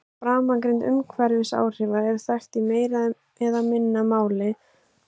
Framangreind umhverfisáhrif eru þekkt í meira eða minna mæli frá jarðhitavirkjunum hérlendis og erlendis.